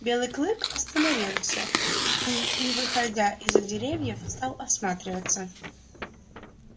белый клык остановился и не выходя из за деревьев стал осматриваться